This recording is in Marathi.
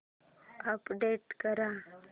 अपडेट कर